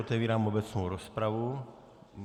Otevírám obecnou rozpravu.